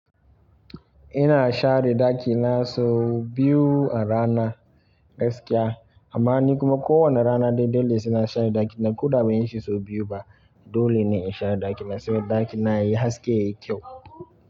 Ina share ɗaki na sau biyu a rana gaskiya. Amma ni kuma kowane rana dai-dai ne saina share ɗaki na. Ko da ban yi shi sau biyu ba dole ne in share ɗaki na saboda ɗaki na yayi haske, yayi kyau.